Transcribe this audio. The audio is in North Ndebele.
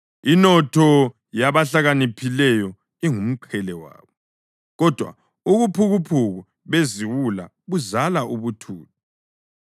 Inotho yabahlakaniphileyo ingumqhele wabo, kodwa ubuphukuphuku beziwula buzala ubuthutha.